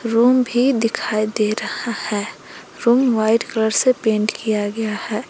Room भी दिखाई दे रहा है रूम व्हाइट कलर से पेंट किया गया है।